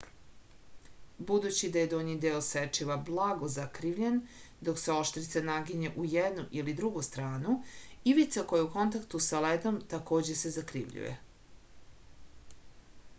budući da je donji deo sečiva blago zakrivljen dok se oštrica naginje u jednu ili drugu stranu ivica koja je u kontaktu sa ledom takođe se zakrivljuje